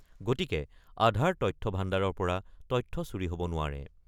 গতিকে আধাৰ তথ্য ভাণ্ডাৰৰ তথ্য চুৰি হ'ব নোৱাৰে।